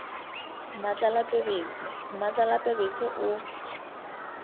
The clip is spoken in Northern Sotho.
mmatlala pebetse mmatlala pebetse o